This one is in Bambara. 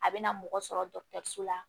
A bɛ na mɔgɔ sɔrɔ dɔgɔtɔrɔso la